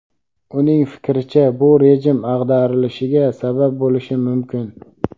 uning fikricha bu rejim ag‘darilishiga sabab bo‘lishi mumkin.